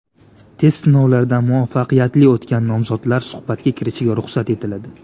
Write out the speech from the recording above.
Test sinovlaridan muvaffaqiyatli o‘tgan nomzodlar suhbatga kirishiga ruxsat etiladi.